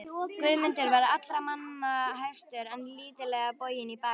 Guðmundur var allra manna hæstur en lítillega boginn í baki.